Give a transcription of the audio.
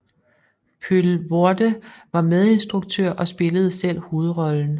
Poelvoorde var medinstruktør og spillede selv hovedrollen